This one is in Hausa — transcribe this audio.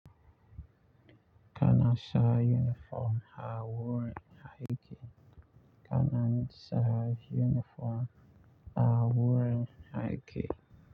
Kana sa uniform ha wurin aiki kana sa uniform a wurin aiki.